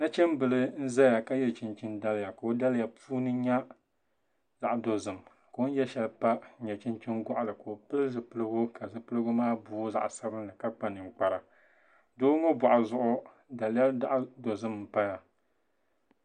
Nachimbili n ʒɛya ka yɛ chinchin daliya ka o daliya puuni nyɛ zaɣ dozim ka o ni yɛ shɛli pa nyɛ chinchin goɣali ka o pili zipiligu ka zipiligu maa booi zaɣ sabinli ka kpa ninkpara doo ŋo boɣu zuɣu daliya zaɣ dozim n paya